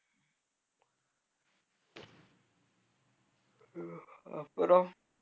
உம் அப்புறம்